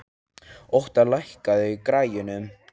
Óttar, lækkaðu í græjunum.